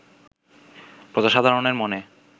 প্রজাসাধারণের মনে